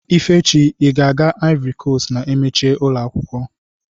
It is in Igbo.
Ifechi ị na-aga ivory coast na emechi ụlọakwụkwọ